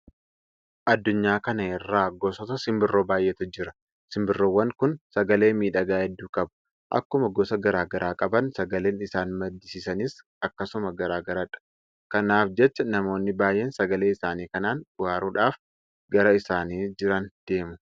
Addunyaa kana irra gosoota simbirroo baay'eetu jira. Simbirroowwan kun sagalee miidhagaa hedduu qabu. Akkuma gosa garaa garaa qaban sagaleen isaan maddisiisanis akkasuma garaa garadha. Kanaaf jecha namoonni baay'een sagalee isaanii kanaan bohaaruudhaaf gara isaan jiran deemu.